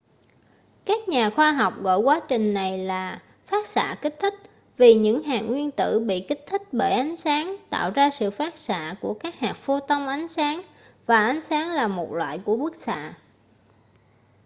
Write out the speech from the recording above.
các nhà khoa học gọi quá trình này là phát xạ kích thích vì những hạt nguyên tử bị kích thích bởi ánh sáng tạo ra sự phát xạ của các hạt photon ánh sáng và ánh sáng là một loại của bức xạ